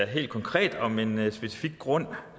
helt konkret om en specifik grund